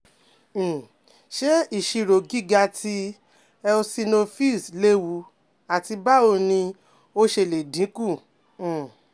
um Ṣe iṣiro giga ti eosinophils lewu, ati bawo ni o ṣe le dinku? um